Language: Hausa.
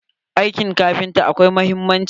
Aikin kafinta akwai muhimmanci.